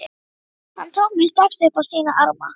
Hann tók mig strax upp á sína arma.